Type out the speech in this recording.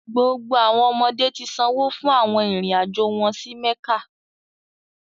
Gbogbo awọn ọmọde ti sanwo fun awọn irin-ajo wọn si mekka